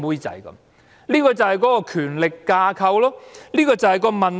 這正正是權力架構的問題。